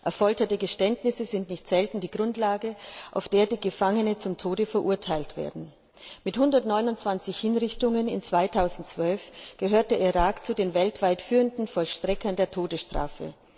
Durch Folter erzwungene Geständnisse sind nicht selten die Grundlage, auf der die Gefangenen zum Tode verurteilt werden. Mit 129 Hinrichtungen im Jahr 2012 gehört der Irak zu den weltweit führenden Vollstreckern der Todesstrafe.